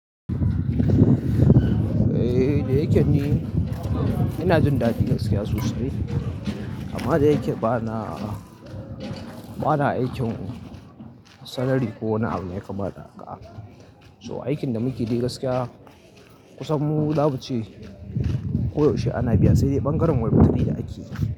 Eh da yake ni ina jin daɗi gaskiya sosai amma dayake bana bana aikin salari ko wani abu. So aikin da muke yi gaskiya kusan mu zamu ce koyaushe ana biya, sai dai ɓangaren wa rutiɓi da ake yi.